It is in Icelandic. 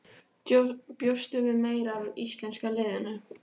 Bjóstu við meira af íslenska liðinu?